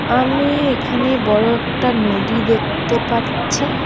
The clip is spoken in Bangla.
আমি এখানে বড় একটা নদী দেখতে পাচ্ছি।